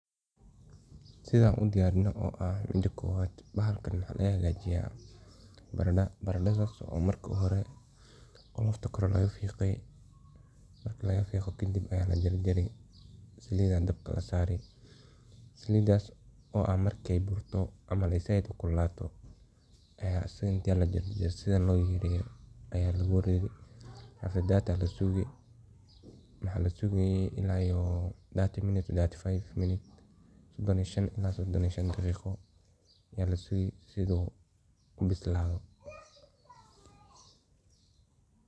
Sidan udiyrino oo ah, mida kowad baxalkan maxa lagaxgajiya barada, barada marka uxore qolofta koree laqafigee, marki laaqafigo kadib aya lajarjari, salida dabka lasarii, salat oo ah ama zaid u kululato, aya inti lajarjaro sidhan loyaryareyo aya laguridii, after that waxa lasugayee ila iyo 30min 35min sodon iyo shan ila sodon daqiqadoth, aya lasugii il u kabislado.